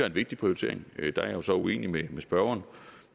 en vigtig prioritering der er jeg så uenig med spørgeren